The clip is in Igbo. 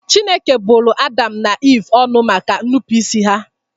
Chineke bụrụ Adam na Eve ọnụ maka ñụpụịsị ha